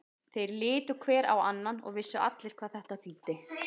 Þeir litu hver á annan og vissu allir hvað þetta þýddi.